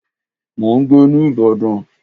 Mò ń gbé ní ìbàdàn.